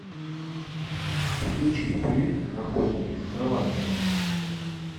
включи фильм охотники за караванами